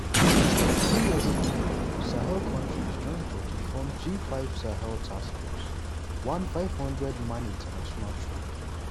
few years ago sahel kontris join bodi form g5 sahel task force one 5000-man international troop.